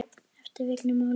eftir Vigni Má Lýðsson